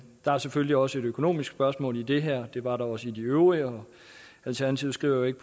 der er selvfølgelig også et økonomisk spørgsmål i det her det var der også i de øvrige alternativet skriver jo ikke